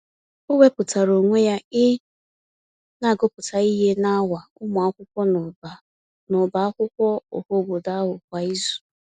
O wepụtara onwe ya ị na-agụpụta ihe n’awa ụmụaka n'ọbá n'ọbá akwụkwọ ọhaobodo ahụ kwa izu.